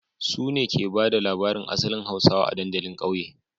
Su ne ke ba da labarin asalin hausawa a dandalin kauye